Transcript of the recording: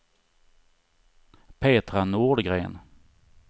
Petra Nordgren